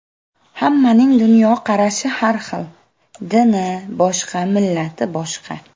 Hammaning dunyoqarashi har xil, dini boshqa, millati boshqa.